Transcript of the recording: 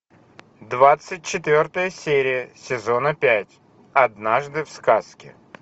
двадцать четвертая серия сезона пять однажды в сказке